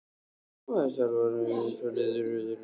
Nú hefst alvaran, hvaða lið tekur titilinn?